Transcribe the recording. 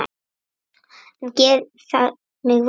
En gerir það mig vondan?